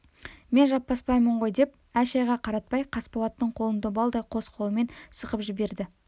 мен жаппасбаймын ғой деп әй-шәйге қаратпай қасболаттың қолын добалдай қос қолымен сығып жіберді